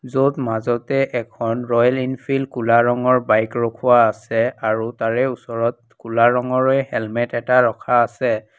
য'ত মাজতে এখন ৰয়েল এনফিল্ড ক'লা ৰঙৰ বাইক ৰখোৱা আছে আৰু তাৰে ওচৰত ক'লা ৰঙেৰে হেলমেট এটা ৰখা আছে।